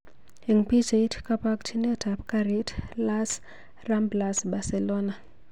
Eng pichait: kabokchinet ab garit Las Ramblas, Barcelona